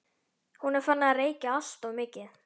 Hún er farin að reykja alltof mikið.